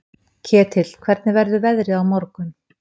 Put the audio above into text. Ketill, hvernig verður veðrið á morgun?